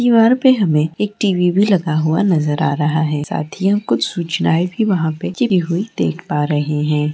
दीवार पे हमे एक टी.वी. भी लगा हुआ नजर आ रहा है साथ ही हम कुछ सूचनाएं भी वहां पे चिपकी हुई देख पा रहे है।